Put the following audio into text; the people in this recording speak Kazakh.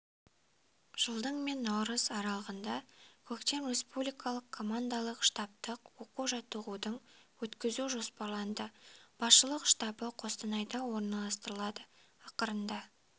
жылдың мен наурыз аралығында көктем республикалық командалық-штабтық оқу-жаттығудың өткізуі жоспарланды басшылық штабы қостанайда орналастырылады ақырында